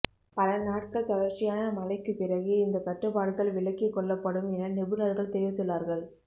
பல நாட்கள் தொடர்ச்சியான மழைக்கு பிறகே இந்த கட்டுப்பாடுகள் விலக்கிக் கொள்ளப்படும் என நிபுணர்கள் தெரிவித்துள்ளார்கள்